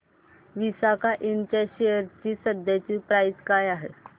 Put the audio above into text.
विसाका इंड च्या शेअर ची सध्याची प्राइस काय आहे